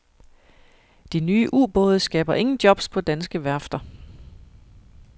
De nye ubåde skaber ingen jobs på danske værfter.